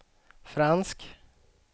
fransk